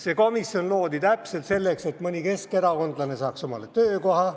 See komisjon loodi täpselt selleks, et mõni keskerakondlane saaks omale töökoha.